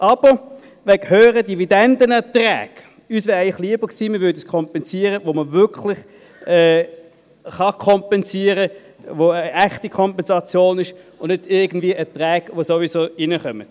Wegen höherer Dividendenerträge wäre es uns jedoch lieber gewesen, man würde dort kompensieren, wo man wirklich kompensieren kann, wo es eine echte Kompensation ist und nicht bei irgendwelchen Erträgen, die sowieso reinkommen.